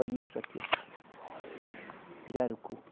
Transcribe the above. Olhe isso aqui, ó. Pirarucu